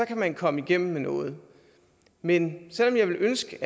kan man komme igennem med noget men selv om jeg ville ønske